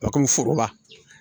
foroba